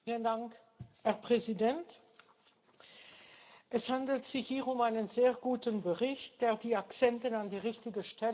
Herr Präsident! Es handelt sich hier um einen sehr guten Bericht, der die Akzente an die richtigen Stellen setzt.